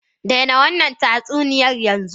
Daina wannan tatsuniya yanzu!